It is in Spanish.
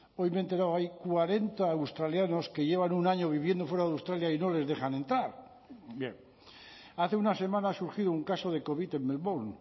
hoy me he enterado hay cuarenta australianos que llevan un año viviendo fuera de australia y no les dejan entrar bien hace una semana ha surgido un caso de covid en melbourne